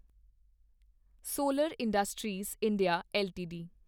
solar industries India LTD